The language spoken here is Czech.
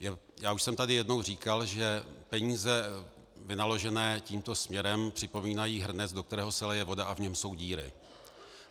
Já už jsem tady jednou říkal, že peníze vynaložené tímto směrem připomínají hrnec, do kterého se lije voda a v němž jsou díry.